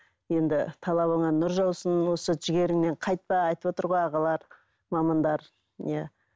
енді талабыңа нұр жаусын осы жігеріңнен қайтпа айтып отыр ғой ағалар мамандар иә